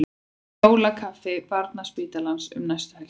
Jólakaffi Barnaspítalans um næstu helgi